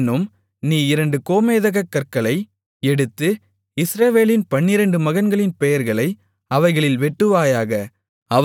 பின்னும் நீ இரண்டு கோமேதகக்கற்களை எடுத்து இஸ்ரவேலின் பன்னிரண்டு மகன்களின் பெயர்களை அவைகளில் வெட்டுவாயாக